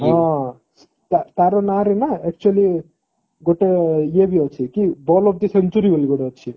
ହଁ ତାର ନାଁ ରେ ନା actually ଗୋଟେ ଇଏ ବି ଅଛି କି ball of century ବୋଲି ଗୋଟେ ଅଛି